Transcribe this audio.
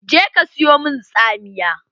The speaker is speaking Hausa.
Je ka siyo min tsamiya!